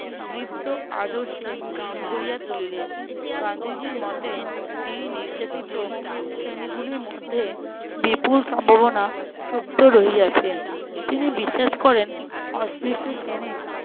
দৃপ্ত আদর্শে ভরিয়া তুলিলেন গান্ধীজীর মতে এই নির্যাতিত শ্রেণীগুলোর মধ্যে বিপুল সম্ভাবনা সুপ্ত রহিয়াছে। তিনি বিশ্বাস করেন অস্পৃশ্য শ্রেণীর